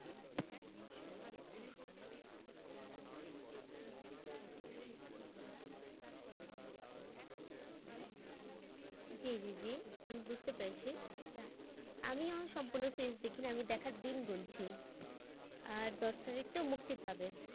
জি জি আমি বুঝতে পেরেছি আমিও সম্পূর্ণ series দেখিনি আমি দেখার দিন গুনছি আহ দশ তারিখ তো মুক্তি পাবে।